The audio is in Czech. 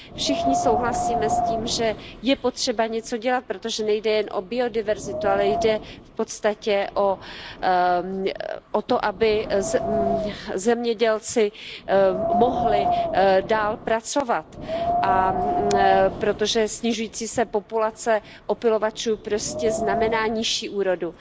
Všichni souhlasíme s tím, že je potřeba něco dělat, protože nejde jen o biodiverzitu, ale jde v podstatě o to, aby zemědělci mohli dále pracovat, protože snižující se populace opylovačů znamená nižší úrodu.